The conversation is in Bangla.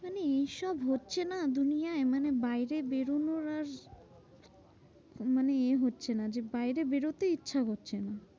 মানে এইসব হচ্ছে না দুনিয়ায়। মানে বাইরে বেরোনোর আর মানে এ হচ্ছে না যে, বাইরে বেরোতেই ইচ্ছা হচ্ছে না।